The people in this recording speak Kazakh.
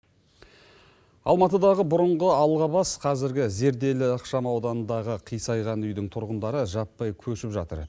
алматыдағы бұрынғы алғабас қазіргі зерделі ықшамауданындағы қисайған үйдің тұрғындары жаппай көшіп жатыр